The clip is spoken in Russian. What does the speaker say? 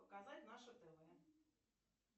показать наше тв